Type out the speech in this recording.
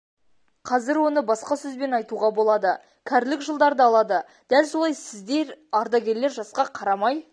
қазір оны басқа сөзбен айтуға болады кәрілік жылдарды алады дәл солай сіздер ардагерлер жасқа қарамай